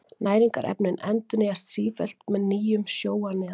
Næringarefnin endurnýjast sífellt með nýjum sjó að neðan.